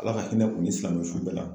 ALA ka hinɛ u ni silamɛsu bɛɛ la.